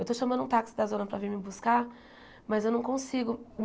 Eu estou chamando um táxi da zona para vir me buscar, mas eu não consigo.